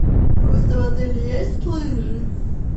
в этом отеле есть лыжи